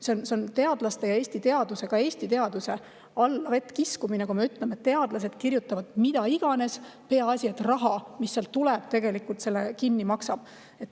See on teadlaste ja Eesti teaduse alla kiskumine, kui me ütleme, et teadlased kirjutavad mida iganes, peaasi et raha tuleb, mis selle kinni maksab.